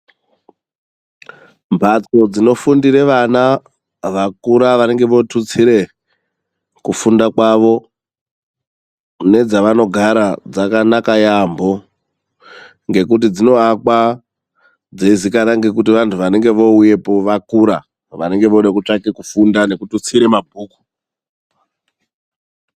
Mbatso dzinofundire vana vakura vanenge votutsire kufunda kwavo nedzavanogara dzakanaka yamho, ngekuti dzinoakwa dzeizikana ngekuti kuti vandu vanenge voouyapo vakura, vanenge vootsvange kufunda nekututsira mabhuku.